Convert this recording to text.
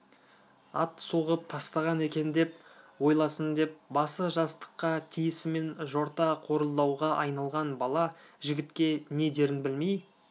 ат соғып тастаған екен деп ойласын деп басы жастыққа тиісімен жорта қорылдауға айналған бала жігітке не дерін білмей